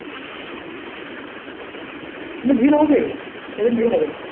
কিন্তু ভিড় হবে সেই দিন ভিড় হবে